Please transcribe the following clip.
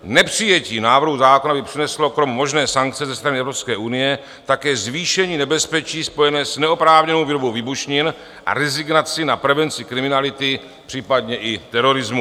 Nepřijetí návrhu zákona by přineslo krom možné sankce ze strany Evropské unie také zvýšení nebezpečí spojené s neoprávněnou výrobou výbušnin a rezignaci na prevenci kriminality, případně i terorismu.